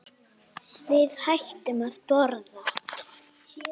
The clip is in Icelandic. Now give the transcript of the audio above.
Við hættum að borða.